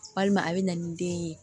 Walima a bɛ na ni den ye